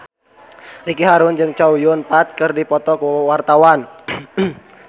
Ricky Harun jeung Chow Yun Fat keur dipoto ku wartawan